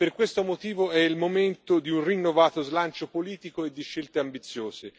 Per questo motivo è il momento di un rinnovato slancio politico e di scelte ambiziose.